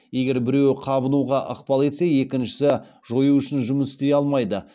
егер біреуі қабынуға ықпал етсе екіншісі жою үшін жұмыс істей алмайды